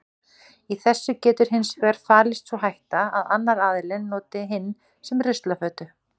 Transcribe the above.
Í þessu getur hins vegar falist sú hætta að annar aðilinn noti hinn sem ruslafötu.